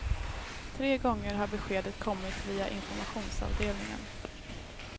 Tre gånger har beskedet kommit via informationsavdelningen.